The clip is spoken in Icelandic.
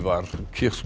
var